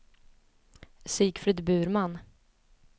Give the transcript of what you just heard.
Sigfrid Burman